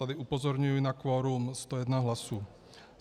Tady upozorňuji na kvorum 101 hlasů.